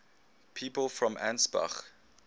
people from ansbach